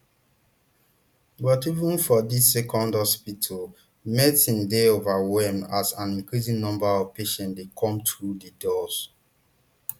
but even for dis second hospital medics dey overwhelmed as an increasing number of patients dey come through di doors